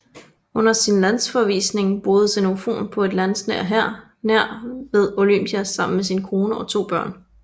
Under sin landsforvisning boede Xenofon på et landsted nær ved Olympia sammen med sin kone og to børn